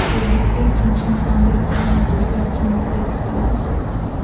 Sevgisiga ikkinchi imkon bergan yulduzlar kimligiga to‘xtalamiz.